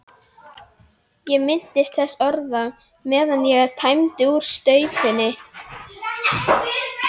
Ég minntist þessara orða, meðan ég tæmdi úr staupinu.